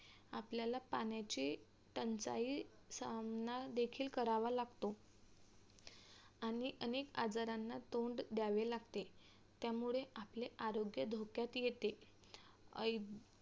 आपल्याला पाण्याची टंचाई सामना देखील करावा लागतो आणि अनेक आजारांना तोंड द्यावे लागते त्यामुळे आपले आरोग्य धोक्यात येते